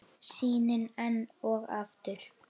Sýnin enn og aftur.